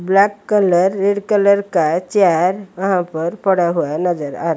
black colour red colour का chair वहां पर पड़ा हुआ नजर आ--